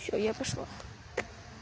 всё я пошла